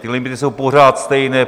Ty limity jsou pořád stejné.